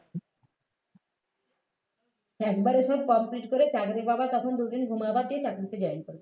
একবারে সব complete করে চাকরি পাবা তখন দুইদিন ঘুমাবা দিয়ে চাকরিতে join করবে